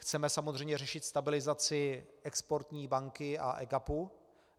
Chceme samozřejmě řešit stabilizaci Exportní banky a EGAPu.